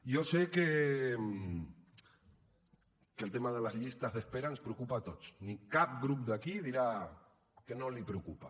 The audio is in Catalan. jo sé que el tema de les llistes d’espera ens preocupa a tots i que cap grup d’aquí dirà que no els preocupa